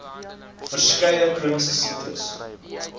verskeie chroniese siektes